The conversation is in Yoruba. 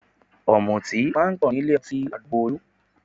Ọ̀mùtí máa ń pọ̀ nílé ọtí àdúgbò Olú